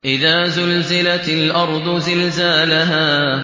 إِذَا زُلْزِلَتِ الْأَرْضُ زِلْزَالَهَا